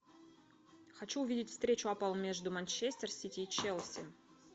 хочу увидеть встречу апл между манчестер сити и челси